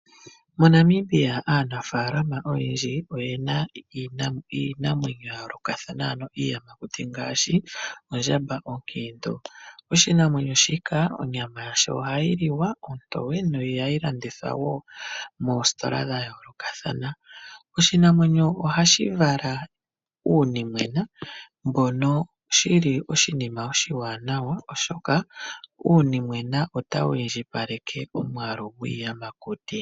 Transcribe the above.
MoNamibia aanafalama oyendji oyena iinamwenyo ya yoolokathana, ano iiyamakuti ngaashi ondjamba onkendo. Oshinamwenyo shika onyama yasho ohayi liwa ontowe, nohayi landithwa wo moositola dha yoolokathana. Oshinamwenyo ohashi vala uunimwena, mbono shili oshinima oshiwanawa oshoka uunimwena otawu indjipaleke omwaalu gwiiyamakuti.